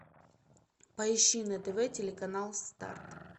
поищи на тв телеканал старт